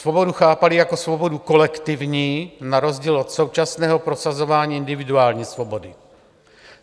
Svobodu chápali jako svobodu kolektivní na rozdíl od současného prosazování individuální svobody.